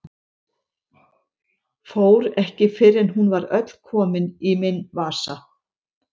Fór ekki fyrr en hún var öll komin í minn vasa.